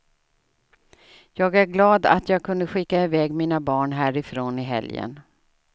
Jag är glad att jag kunde skicka i väg mina barn härifrån i helgen.